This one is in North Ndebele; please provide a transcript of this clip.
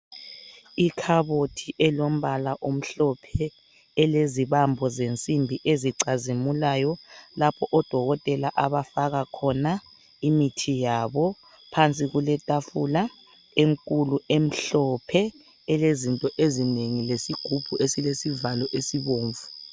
Ikhabothi elombala omhlophe elezibambo zensimbi ezicazimulayo lapho odokotela abafaka khona imithi yabo. Phansi kuletafula enkulu emhlophe elezinto ezinengi lesigubhu esilesivalo esibomvu.